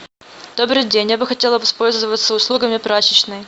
добрый день я бы хотела воспользоваться услугами прачечной